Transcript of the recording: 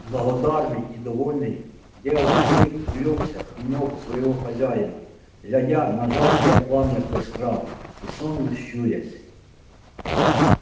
благодарный и довольный белый клык улёгся у ног своего хозяина глядя на жаркое пламя костра и сонно щурясь